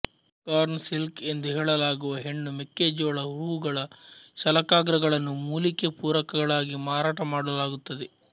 corn silk ಎಂದು ಹೇಳಲಾಗುವ ಹೆಣ್ಣು ಮೆಕ್ಕೆ ಜೋಳ ಹೂವುಗಳ ಶಲಾಕಾಗ್ರಗಳನ್ನು ಮೂಲಿಕೆ ಪೂರಕಗಳಾಗಿ ಮಾರಾಟ ಮಾಡಲಾಗುತ್ತದೆ